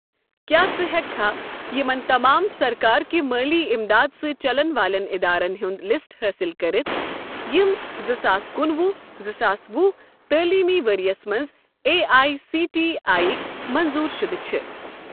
کیٛاہ ژٕ ہیٚککھا یِمَن تمام سرکار کہِ مٲلی اِمداد سۭتؠ چَلن والٮ۪ن ادارن ہُنٛد لسٹ حٲصِل کٔرتھ یِم زٕ ساس کُنہٕ وُہ زٕ ساس وُہ تٲلیٖمی ؤرۍ یَس مَنٛز A I C T E یٕکۍ منظوٗر شُدٕ چھِ؟